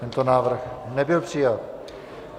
Tento návrh nebyl přijat.